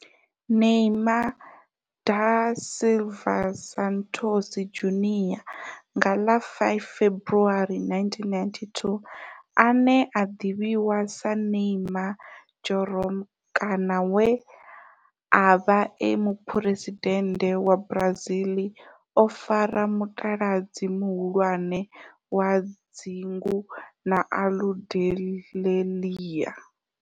Neymar da Silva Santos Junior, nga ḽa 5 February 1992, ane a ḓivhiwa sa Ne'ymar' Jeromme kana we a vha e muphuresidennde wa Brazil o fara mutaladzi muhulwane wa dzingu na Aludalelia.